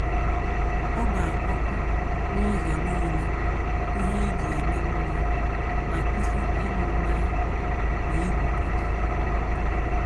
Ọ gbaa ọkụ n’ụzọ niile ihe eji eme mmụọ ma kwụsị ịṅụ mmanya na igwupụta.